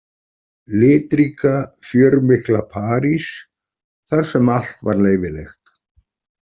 Litríka, fjörmikla París þar sem allt var leyfilegt.